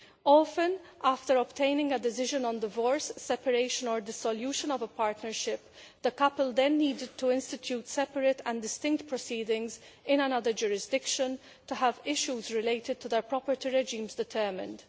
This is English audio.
Often, after obtaining a decision on divorce, separation or dissolution of a partnership, the couple have needed to institute separate and distinct proceedings in another jurisdiction to have issues related to their property regime determined.